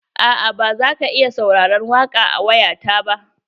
Aa ba zaka iya sauraron waƙa da waya ta ba.